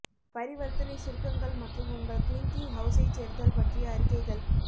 பரிவர்த்தனை சுருக்கங்கள் மற்றும் உங்கள் க்ளிங்கிங் ஹவுஸைச் சேர்த்தல் பற்றிய அறிக்கைகள்